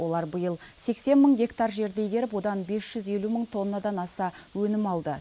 олар биыл сексен мың гектар жерді игеріп одан бес жүз елу мың тоннадан аса өнім алды